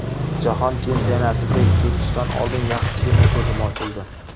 Jahon chempionatiga ketishdan oldin yaxshigina ko‘zim ochildi.